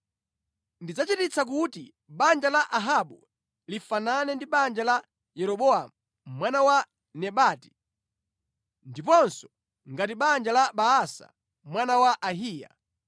Ndidzachititsa kuti banja la Ahabu lifanane ndi banja la Yeroboamu mwana wa Nebati ndiponso ngati banja la Baasa mwana wa Ahiya.